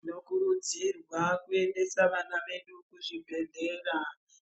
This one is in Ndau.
Tinokurudzirwa kuendesa vana vedu kuzvibhedhlera,